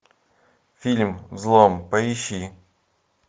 фильм взлом поищи